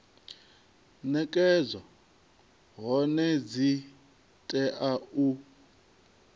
nekedzwa hone dzi tea u